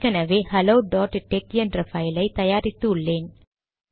ஏற்கெனவே hello dot tech என்ற file ஐ தயாரித்து உள்ளேன்